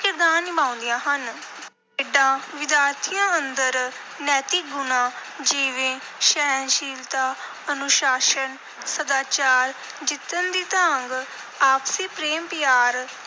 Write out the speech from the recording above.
ਕਿਰਦਾਰ ਨਿਭਾਉਂਦੀਆਂ ਹਨ। ਖੇਡਾਂ ਵਿਦਿਆਰਥੀਆਂ ਅੰਦਰ ਨੈਤਿਕ ਗੁਣਾਂ, ਜਿਵੇਂ ਸਹਿਣਸ਼ੀਲਤਾ, ਅਨੁਸ਼ਾਸਨ, ਸਦਾਚਾਰ, ਜਿੱਤਣ ਦੀ ਤਾਂਘ, ਆਪਸੀ ਪ੍ਰੇਮ ਪਿਆਰ,